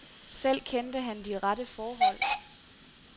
Selv kendte han de rette forhold.